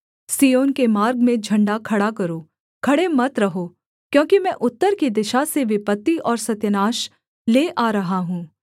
सिय्योन के मार्ग में झण्डा खड़ा करो खड़े मत रहो क्योंकि मैं उत्तर की दिशा से विपत्ति और सत्यानाश ले आ रहा हूँ